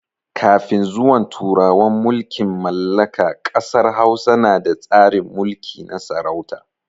Kafin zuwan turawan mulkin mallaka ƙasar Hausa na da tsarin mulki na sarauta.